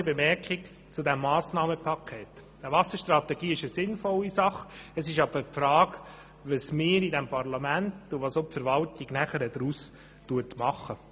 Zunächst einige grundsätzliche Bemerkungen zu diesem Massnahmenpaket: Eine Wasserstrategie ist eine sinnvolle Sache, doch die Frage stellt sich, was wir in diesem Parlament und was die Verwaltung danach daraus machen.